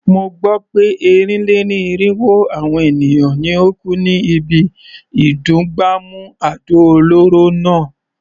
Mo gbó pé ẹ́rìn-lé-ní-irínwó àwọn èèyàn ni ó kú ní ibi ìdún gbàmù àdó olóró náà.